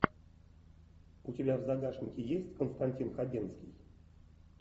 у тебя в загашнике есть константин хабенский